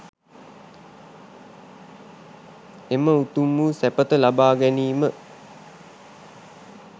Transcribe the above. එම උතුම් වූ සැපත ලබා ගැනීම